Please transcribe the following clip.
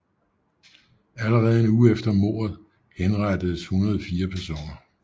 Allerede en uge efter mordet henrettedes 104 personer